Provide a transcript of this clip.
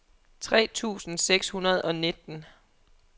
tre tusind seks hundrede og nitten